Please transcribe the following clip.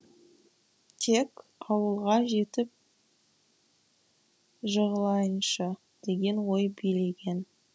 тек ауылға жетіп жығылайыншы деген ой билеген